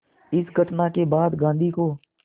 इस घटना के बाद गांधी को